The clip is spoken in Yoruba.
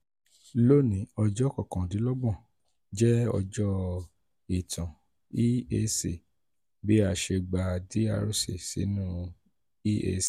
loni ọjọ kọkandinlọgbọn jẹ ọjọ itan eac bi a ṣe gba drc sinu eac